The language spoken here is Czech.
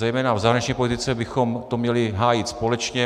Zejména v zahraniční politice bychom to měli hájit společně.